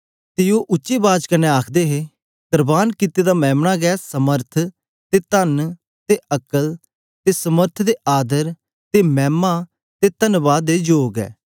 ते ओ उच्चे बाज कन्ने आखदे हे करबान कित्ते दा मेम्ना गै सामर्थ ते तन ते अक्ल ते समर्थ ते आदर ते मैमा ते तन्वाद दे जोग ऐ